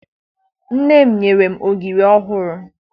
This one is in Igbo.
Nne m nyere m ogiri ọhụrụ